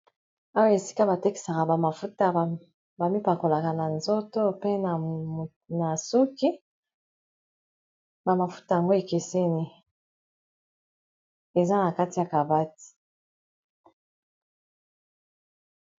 Awa esika batekisaka bamafuta bami bakolaka na nzoto, pe na suki bamafuta yango ekeseni eza na kati ya cabati.